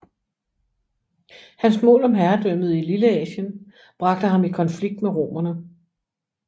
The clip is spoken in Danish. Hans mål om herredømmet i Lilleasien bragte ham i konflikt med romerne